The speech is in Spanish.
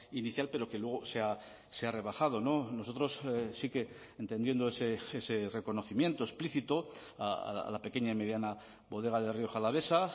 inicial pero que luego se ha rebajado nosotros sí que entendiendo ese reconocimiento explícito a la pequeña y mediana bodega de rioja alavesa